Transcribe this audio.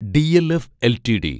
DLF LTD